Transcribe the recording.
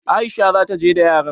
Aisha za ta je da yaran.